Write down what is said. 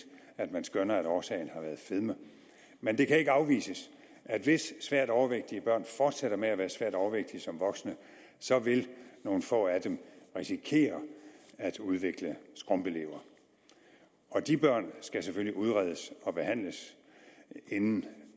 at man skønner at årsagen har været fedme men det kan ikke afvises at hvis svært overvægtige børn fortsætter med at være svært overvægtige som voksne så vil nogle få af dem risikere at udvikle skrumpelever og de børn skal selvfølgelig udredes og behandles inden